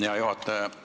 Hea juhataja!